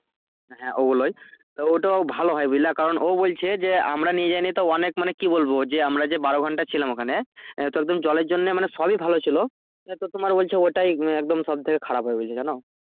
হ্যাঁ ওগুলোই ওইটা ভালো হয়ে বুঝলে কারণ ও বলছে যে আমরা নিয়ে যাই নি তো অনেক মানে কি বলবো যে আমরা যে বারো ঘন্টা ছিলাম ওখানে তো একদিন জলের জন্যে মানে solid ছিলো তো তোমার বলছে ওটাই একদম সব থেকে খারাপ হয়ে গেছিলো জানো